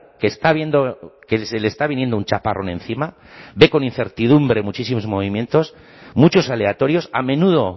que está viendo que se le está viniendo un chaparrón encima ve con incertidumbre muchísimos movimientos muchos aleatorios a menudo